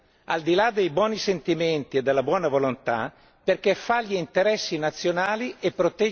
di là dei buoni sentimenti e della buona volontà perché fa gli interessi nazionali e protegge il cittadino.